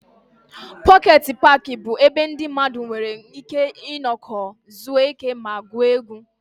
Pọket paaki bụ ebe ndị mmadụ nwere ike nọkọọ, zuo ike ma gwuo egwu.